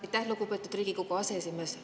Aitäh, lugupeetud Riigikogu aseesimees!